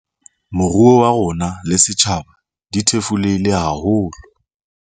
Moruo wa rona le setjhaba di thefulehile haholo.